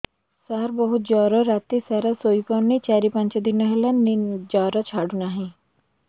ସାର ବହୁତ ଜର ରାତି ସାରା ଶୋଇପାରୁନି ଚାରି ପାଞ୍ଚ ଦିନ ହେଲା ଜର ଛାଡ଼ୁ ନାହିଁ